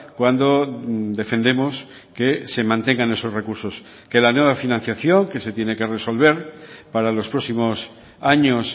cuando defendemos que se mantengan esos recursos que la nueva financiación que se tiene que resolver para los próximos años